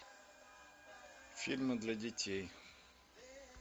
фильмы для детей